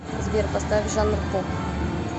сбер поставь жанр поп